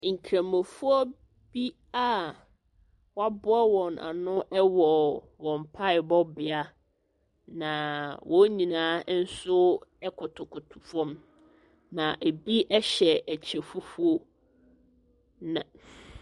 Nkurɔfoɔ bi a wɔaboa wɔn ano wɔ wɔn mpaebɔbea, naaa wɔn hyinaa nso kotokoto fam. Na ɛbi hyɛ ɛkyɛ fufuo. Na ff .